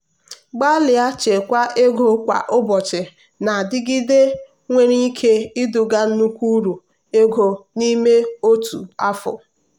mgbalị ichekwa ego kwa ụbọchị na-adịgide nwere ike iduga nnukwu uru ego n'ime otu afọ.